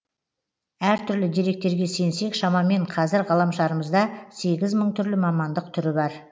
әртүрлі деректерге сенсек шамамен қазір ғаламшарымызда сегіз мың түрлі мамандық түрі бар